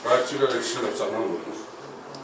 Qaçdıq, elə kişilər canımdan vurdular.